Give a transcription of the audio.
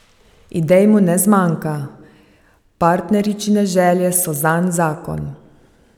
Idej mu ne zmanjka, partneričine želje so zanj zakon.